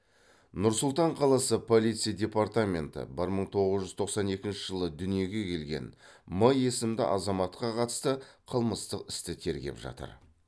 нұр сұлтан қаласы полиция департаменті бір мың тоғыз жүз тоқсан екінші жылы дүниеге келген м есімді азаматқа қатысты қылмыстық істі тергеп жатыр